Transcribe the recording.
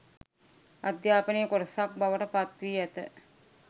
අධ්‍යාපනයේ කොටසක් බවට පත්වී ඇත.